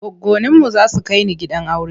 Goggoninmu za su kai ni gidan aure.